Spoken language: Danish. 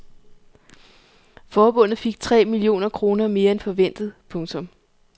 Forbundet fik tre millioner kroner mere end forventet. punktum